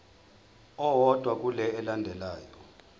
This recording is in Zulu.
owodwa kule elandelayo